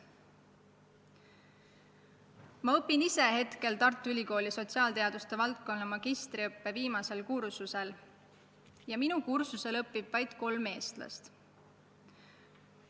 Ma õpin ise praegu Tartu Ülikooli sotsiaalteaduste valdkonna magistriõppe viimasel kursusel ja minu kursusel õpib vaid kolm eestlast.